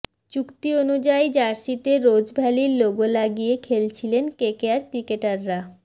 চুক্তি অনুযায়ী জার্সিতে রোজভ্যালির লোগো লাগিয়ে খেলেছিলেন কেকেআর ক্রিকেটাররা